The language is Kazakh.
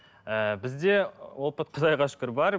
ыыы бізде опыт құдайға шүкір бар